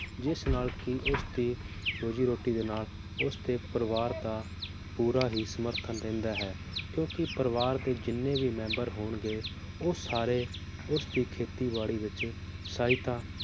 ਜਿਸ ਨਾਲ ਕੀ ਉਸ ਦੀ ਰੋਜ਼ੀ ਰੋਟੀ ਦੇ ਨਾਲ ਉਸ ਦੇ ਪਰਿਵਾਰ ਦਾ ਪੂਰਾ ਹੀ ਸਮਰਥਨ ਰਹਿੰਦਾ ਹੈ ਕਿਉਂਕਿ ਪਰਿਵਾਰ ਦੇ ਜਿੰਨੇ ਵੀ member ਹੋਣਗੇ ਉਹ ਸਾਰੇ ਉਸ ਦੀ ਖੇਤੀ ਬਾੜੀ ਵਿਚ ਸਹਾਇਤਾ